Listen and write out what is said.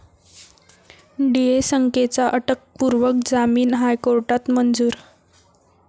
डीएसकेंचा अटकपूर्व जामीन हायकोर्टात मंजूर